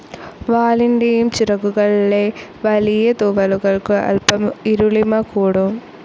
വാലിൻ്റെയും ചിറകുകളിലെ വലിയ തൂവലുകൾക്കു അൽപ്പം ഇരുളിമ കൂടും.